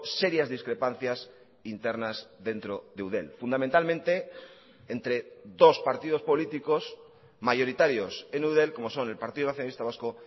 serias discrepancias internas dentro de eudel fundamentalmente entre dos partidos políticos mayoritarios en eudel como son el partido nacionalista vasco